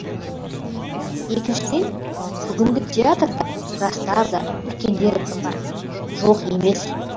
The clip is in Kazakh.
екіншіден бүгінгі театрда жастар да үлкендер де бар жоқ емес